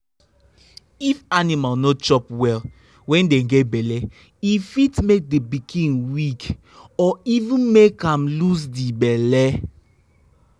if animal no chop well when dey get belle e fit make the pikin weak or even make am lose the belle.